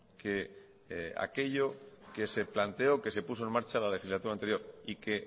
que aquello que se planteó que se puso en marcha la legislatura anterior y